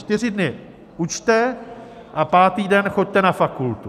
Čtyři dny učte a pátý den choďte na fakultu.